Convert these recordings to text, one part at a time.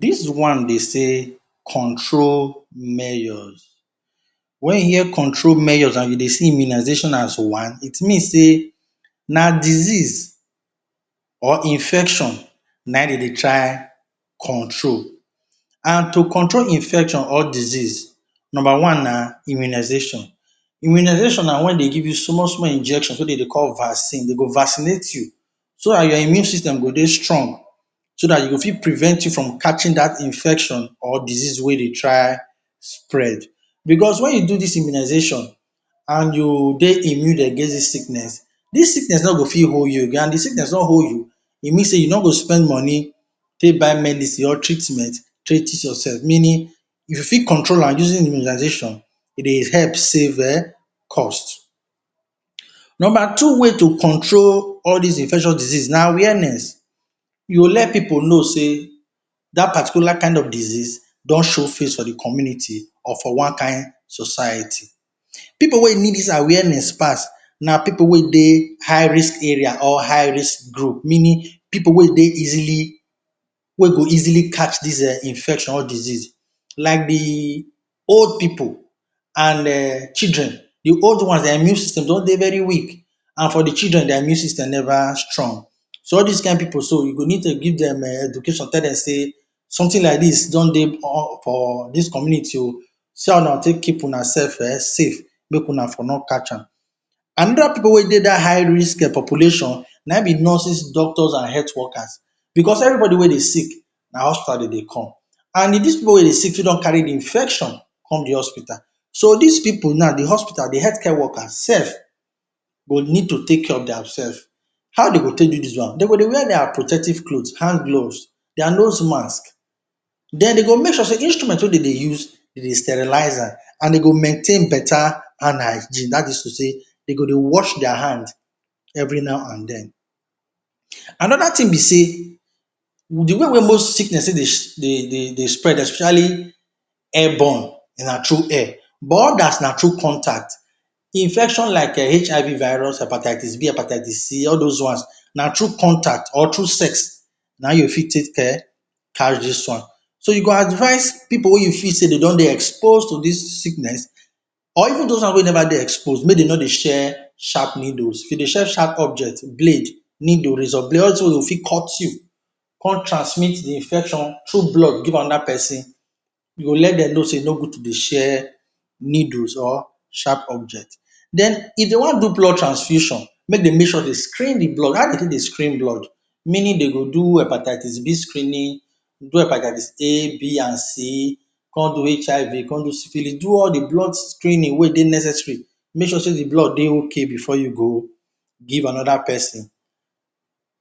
Dis one dey say control measures. When you hear control measures and you dey see immunization as one IT mean sey na disease or infection na dem dey try control and to control infection or disease number one na immunization. Immunization na when dem give you small small injection wey dem dey call dem dey call vaccine dem go vaccinate you, so dat your immune system go dey strong, so dat you go fit prevent you from catching dat infection or disease wey dey try spread, because when you do dis immunization and you dey immune against dis sickness dis sickness no go fit hold youagain and if de sickness no hold you e mean sey you no go spend money take buy medicine or treat yourself meaning you fit control am using immunization e dey help save um cost. Number two way to control all dis infection, diseases na awareness you let pipu know sey that particular kind of disease don show face for de community or for one kind society. Pipu wey need dis awareness pass na pipu wey dey high risk area or high risk group meaning pipu wey dey easily, wey go easily catch dis infection or disease like the old pipu and um and children the old ones their immune system don dey very weak and for de children their immune system never strong. So all dis kind pipu so you go need to give dey education tell dem sey something like dis don dey on for dis community um see as una go take keep una self safe make una no catch am. Another pipu wey dey dat high risk population na in be nurses doctors and health workers, because everybody wey dey sick, na hospital de dey come and dis pipu wey dey sick fit don carry de infection come de hospital. So dis pipu na de hospital de health care workers self go need to take care of their self. How dem go take do dis one? Dem go dey wear their protective clothes, handgloves, their nose masks then dem go make sure sey de instrument wey dem dey use dem dey sterilize am and dem go maintain better hygiene that is to say dem go dey wash their hand every now and den. Another thing be sey with de way most sickness take dey dey dey spread especially airborne, na through air but others na through contact. Infection like HIV virus, hepatitis B, hepatitis C all those ones na through contact or through sex na you fit take um catch dis ones. So you go advice pipu wey you feel sey dem don dey expose to dis sickness or even those one wey never dey expose make dem no dey share sharp needles, to dey share objects blade, needle, razor blade all dis things wey go fit cut you come transmit de infection through blood give another person. You go let dem know sey e no good to dey share needle or sharp objects. Den if dem wan do blood transfusion make dem make sure dem screen the blood, how dem wan take screen de blood? Meaning dem go do hepatitis B screening do hepatitis A,B and C come do HIV, come do syphilis do all the blood screening wey dey necessary to make sure sey the blood dey okay before you go give another person.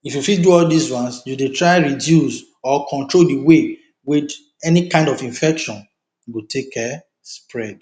If you fit do all dis ones you dey try reduce or control de way wey any kind of infection go take um spread.